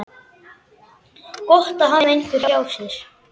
Gott að hafa einhvern hjá sér.